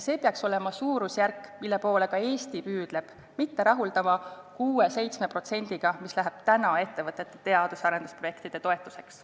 See peaks olema suurusjärk, mille poole ka Eesti võiks püüelda, me ei peaks rahulduma 6–7%-ga, mis läheb praegu ettevõtete teadus- ja arendusprojektide toetuseks.